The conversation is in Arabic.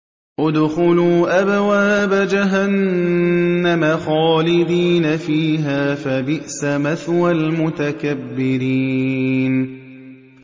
ادْخُلُوا أَبْوَابَ جَهَنَّمَ خَالِدِينَ فِيهَا ۖ فَبِئْسَ مَثْوَى الْمُتَكَبِّرِينَ